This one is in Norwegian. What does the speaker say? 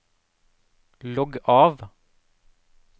logg av